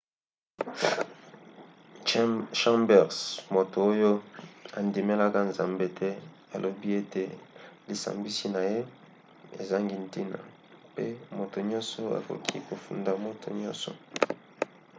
chambers moto oyo andimelaka nzambe te alobi ete lisambisi na ye ezangi ntina mpe moto nyonso akoki kofunda moto nyonso